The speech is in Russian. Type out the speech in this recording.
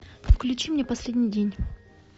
включи мне последний день